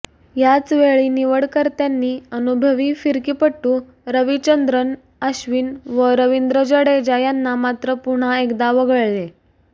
याचवेळी निवडकर्त्यांनी अनुभवी फिरकीपटू रविचंद्रन अश्विन व रवींद्र जडेजा यांना मात्र पुन्हा एकदा वगळले